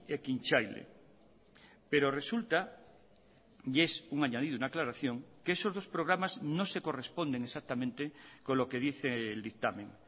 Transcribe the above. ekintzaile pero resulta y es un añadido una aclaración que esos dos programas no se corresponden exactamente con lo que dice el dictamen